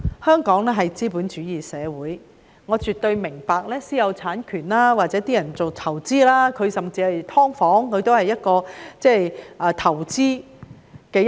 香港是資本主義社會，我絕對明白私有產權或有人投資甚至經營"劏房"，這也是投資的一種。